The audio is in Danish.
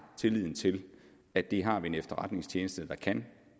tillid til at det har vi en efterretningstjeneste der kan